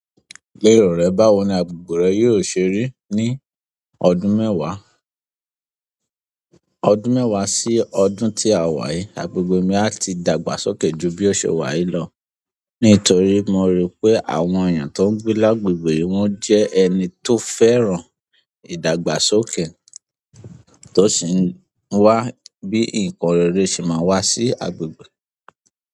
Lerọ rẹ báwo ni agbègbè rẹ yóò ṣe rí ní ọdún mẹ́wàá, ọdún mẹ́wàá sí ọdún tí a wà yí. Agbègbè mi a tí dàgbàsókè ju bí ọ̀ṣe wà yí lọ, nítorí mo ri pé àwọn èèyàn tó ń gbé lágbègbè yi wọn jẹ́ ẹni tó fẹ́ràn ìdàgbàsókè, tó sì ń wá bí nǹkan rere ṣe máa wá sí agbègbè.